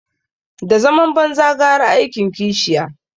Da zaman banza gara aikin kishiya